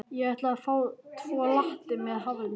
Ég ætla að fá tvo latte með haframjólk.